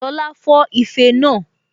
Lọla fọ́ ife náà